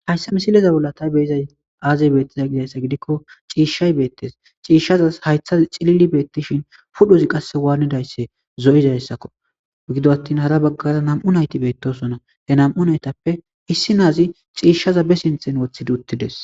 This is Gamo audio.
hayssa misileza bolla ta beyizay aazey beettiza gidayssa gidikko ciishay beettes ciishshaza haytha cilili beettishin pudhozi qasse waannidaysse zo7izayssakko gido attin hara baggara nam7u nayti beettosona he nam7u naytappe issi naazi ciishshaza be sinthen woththidi uttides